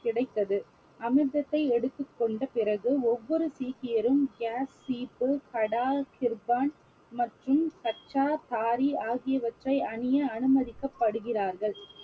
கிடைத்தது அமிர்தத்தை எடுத்துக் கொண்ட பிறகு ஒவ்வொரு சீக்கியரும் மற்றும் ஆகியவற்றை அணிய அனுமதிக்கப்படுகிறார்கள்